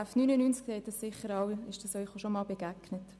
Das ist Ihnen sicher auch schon begegnet.